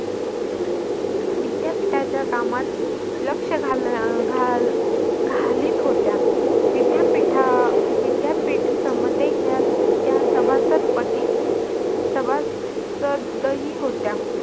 विद्यापीठाच्या कामात लक्ष घाल अह घाल घालीत होत्या. अह विद्यापीठ समतेच्या त्या सभासदपती सभासद ही होत्या.